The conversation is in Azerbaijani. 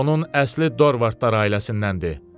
Onun əsli Dorvaddlar ailəsindəndir.